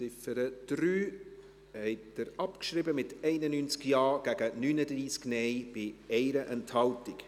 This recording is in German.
Sie haben die Ziffer 3 abgeschrieben, mit 91 Ja- gegen 39 Nein-Stimmen bei 1 Enthaltung.